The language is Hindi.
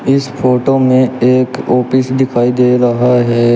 इस फोटो में एक ओपिस दिखाई दे रहा है।